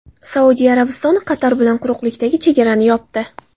Saudiya Arabistoni Qatar bilan quruqlikdagi chegarani yopdi.